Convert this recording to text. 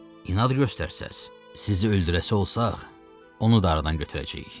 İnad göstərsəniz, sizi öldürəsi olsaq, onu da aradan götürəcəyik.